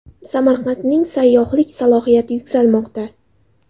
Samarqandning sayyohlik salohiyati yuksalmoqda.